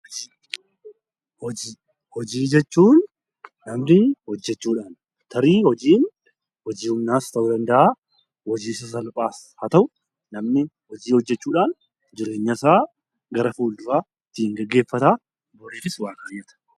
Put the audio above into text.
Hojii jechuun namni hojjachuudhaan tarii hojiin hojii humnaas ta'uu danda'a. Hojii sasalphaas haa ta'uu namni hojii hojjachuudhaan jireenyasaa gara fuulduraa ittiin gaggeeffata.